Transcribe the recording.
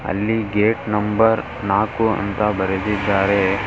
ಅಲ್ಲಿ gate number ನಾಕು ಅಂತ ಬರೆದಿದ್ದಾರೆ.